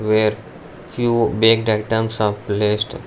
where few baked items are placed.